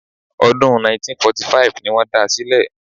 Ọdún 1945 ni wọ́n da sílẹ̀